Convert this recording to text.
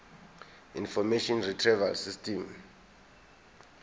information retrieval system